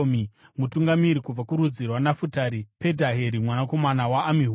Mutungamiri kubva kurudzi rwaNafutari, Pedhaheri mwanakomana waAmihudhi.”